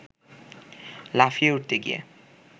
লাফিয়ে উঠতে গিয়ে